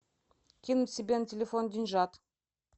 кинуть себе на телефон деньжат